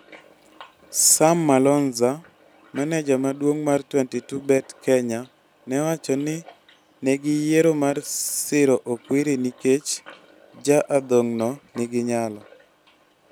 Sam Malonza, maneja maduong' mar 22Bet Kenya ne owacho ni ne giyiero mar siro Okwiri nikech ja adhong'no nigi nyalo.